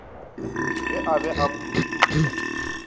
ge a be a phuruputša